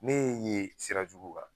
Ne y'e ye sira jugu kan